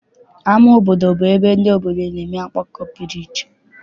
Ama obodo bụ ebe ndị obodo na-enwe ọgbakọ pụrụ iche.